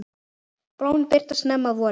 Blómin birtast snemma að vori.